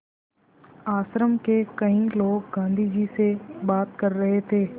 आश्रम के कई लोग गाँधी जी से बात कर रहे थे